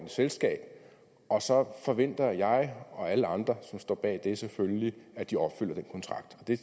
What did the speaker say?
selskab og så forventer jeg og alle andre som står bag det selvfølgelig at de opfylder den kontrakt det